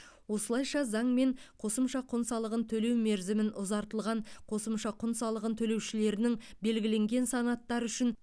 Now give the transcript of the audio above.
осылайша заңмен қосымша құн салығын төлеу мерзімін ұзартылған қосымша құн салығын төлеушілерінің белгіленген санаттары үшін